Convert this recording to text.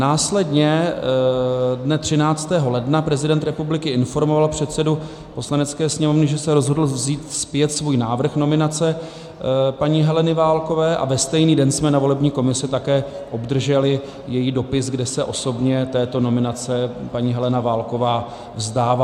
Následně dne 13. ledna prezident republiky informoval předsedu Poslanecké sněmovny, že se rozhodl vzít zpět svůj návrh nominace paní Heleny Válkové, a ve stejný den jsme na volební komisi také obdrželi její dopis, kde se osobně této nominace paní Helena Válková vzdává.